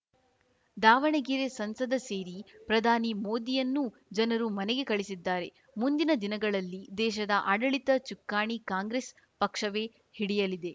ದಾವಣಗೆರೆ ಸಂಸದ ಸೇರಿ ಪ್ರಧಾನಿ ಮೋದಿಯನ್ನೂ ಜನರು ಮನೆಗೆ ಕಳಿಸಲಿದ್ದಾರೆ ಮುಂದಿನ ದಿನಗಳಲ್ಲಿ ದೇಶದ ಆಡಳಿತ ಚುಕ್ಕಾಣಿ ಕಾಂಗ್ರೆಸ್‌ ಪಕ್ಷವೇ ಹಿಡಿಯಲಿದೆ